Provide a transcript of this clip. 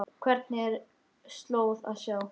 Hvergi er slóð að sjá.